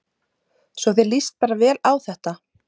Svo þér líst bara vel á þetta?